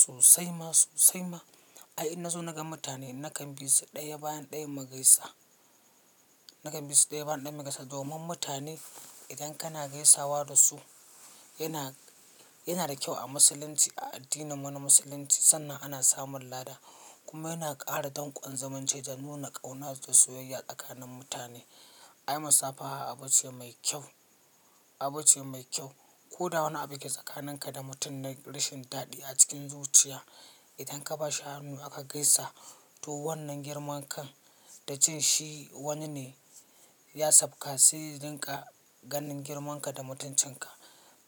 Sosai ma sosai ma. Ai in nazo naga mutane nakan bisu ɗaya bayan ɗayan mu gaisa, nakan bisu ɗaya bayan ɗayan mu gaisa. Domin mutane idan kana gaisawa da su yana, yana da kyau a musulunci a addininmu na musulunci sannan ana samun lada kuma yana ƙara danƙon zumunci da nuna ƙauna da soyayya tsakanin mutane. Ai musafaha abu ce mai kyau, abu ce mai kyau. Ko da wani abu yake tsakaninka da mutum na rashin dadi a cikin zuciya, idan ka bashi hannu aka gaisa to wannan girman kan da jin shi wani ne ya sabka sai dinka ganin girmanka da mutuncinka.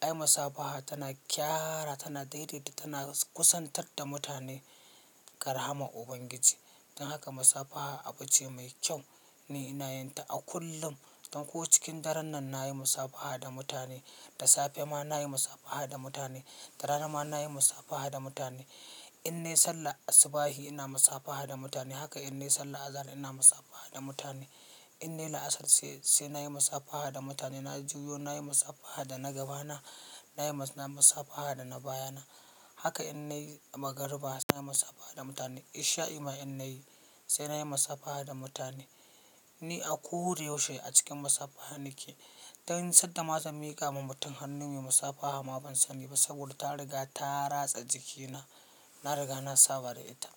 Ai masafaha tana gyara tana daidaita tana kusantar da mutane ga rahamar Ubangiji. Don haka masafaha abu ce mai kyau, ni ina yin ta a kullum. Dan ko cikin daren nan na yi masafaha da mutane, da safe ma na yi masafaha da mutane, da rana ma na yi masafaha da mutane. In nai sallar asubahi ina masafaha da mutane haka in nai sallah azahar ina masafaha da mutane. In nai la'asar sai, sai na yi masafaha da mutane. Na juyo na yi masafaha da na gaba na, na yi ma, na yi masafaha da na baya na. Haka in na yi magariba sai na yi masafaha da mutane. Ishai'i ma in nai sai na yi masafaha da mutane. Ni a koda yaushe a cikin masafaha nake. Dan sadda ma zan miƙa ma mutum hannun mu masafaha ma ban sani ba saboda ta riga ta ratsa jikina, na riga na saba da ita.